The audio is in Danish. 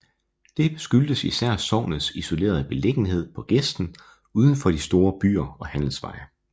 Det skyldtes især sognets isolerede beliggenhed på gesten uden for de store byer og handelsveje